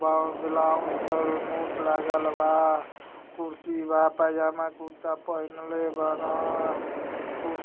ब ब्लाउज क नोट लागल बा कुर्सी बा पजामा कुर्ता पहिनले बान कुर्सी --